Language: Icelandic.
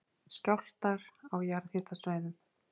Skjálftar á jarðhitasvæðum